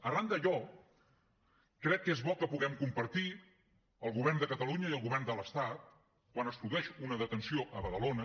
arran d’allò crec que és bo que puguem compartir el govern de catalunya i el govern de l’estat quan es produeix una detenció a badalona